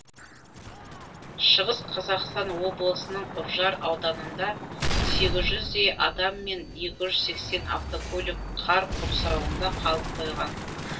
шығыс қазақстан облысының үржар ауданында сегіз жүздей адам мен еуі жүз сексен автокөлік қар құрсауында қалып қойған